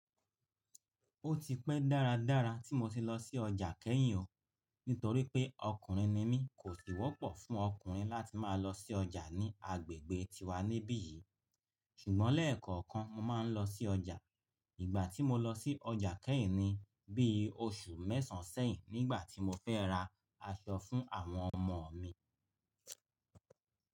Ó ti pẹ́ dáradára tí mo ti lọ sí ọjà kẹ́yìn o. Nítorí pé ọkùnrin ni mí, kò sì wọ́pọ̀ fún ọkùnrin láti máa lọ sí ọjà ní agbègbè tiwa níbí yìí. Ṣùgbọ́n lẹ́ẹ̀kọ̀ọ̀kan mo máa ń lọ sí ọjà. Ìgbà tí mo lọ sí ọjà kẹ́yìn ni bí i oṣù mẹ́sàn sẹ́yìn nígbà tí mo fẹ́ ra aṣọ fún àwọn ọmọ mi.